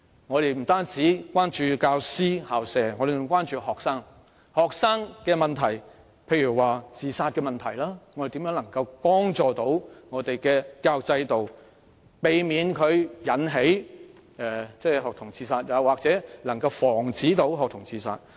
我們不單關注教師和校舍，還關心學生，例如學童自殺問題，我們應如何避免本港的教育制度導致學童自殺，或如何防止學童自殺？